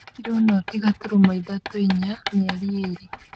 kiro noti gaturumo ithatũ, inyamĩeri ĩrĩ,